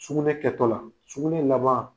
Sugunɛ kɛtɔla, sugunɛ laban